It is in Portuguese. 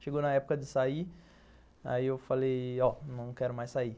Chegou na época de sair, aí eu falei, ó, não quero mais sair.